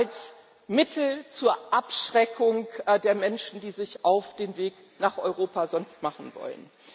als Mittel zur Abschreckung der Menschen, die sich sonst auf den Weg nach Europa machen wollen.